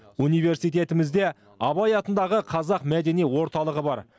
университетімізде абай атындағы қазақ мәдени орталығы бар